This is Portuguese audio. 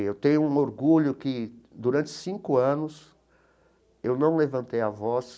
E eu tenho um orgulho que durante cinco anos eu não levantei a voz